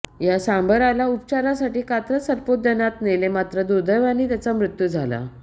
या सांबराला उपचारासाठी कात्रज सर्पोद्यानात नेले मात्र दुर्देवाने त्याचा मृत्यू झाला